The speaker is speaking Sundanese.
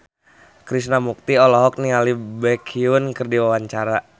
Krishna Mukti olohok ningali Baekhyun keur diwawancara